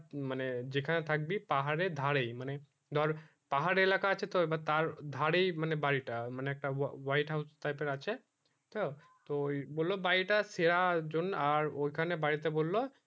মানে যেখানে থাকবি পাহাড়ে ধারে মানে ধর পাহাড় এলাকা আছে তো এবং তার ধারে এ বাড়ি টা মানে একটা white house type এ আছে তো বললো বাড়ি টা সেরা জন আর ওইখানে বাড়ি তে বললো